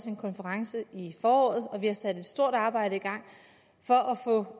en konference i foråret og vi har sat et stort arbejde i gang for